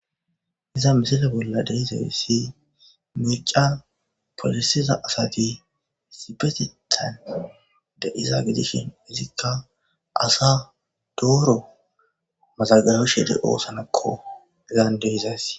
Iza misile bolla de7izayssi mircca polisiza asati sipetettan de7iza gidishin Izikka asa dooro mazaggabishe de7oosonakko izan de7izayssi.